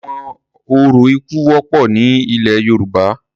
Awọn orȯ iku wọpọ ni ilẹ Yoruba